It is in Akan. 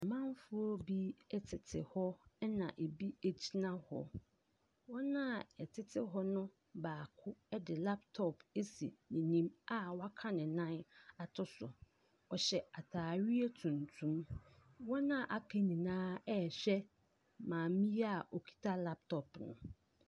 Amanfoɔ bi tete hɔ, ɛnna ebi gyina hɔ. Wɔn a wɔtete hɔ no baako de laptop asi n'anim a waka ne nan ato so. Ɔhyɛ atareɛ tuntum. Wɔn a wɔaka nyinaa rehwɛ maame yi a ɔkita laptop no.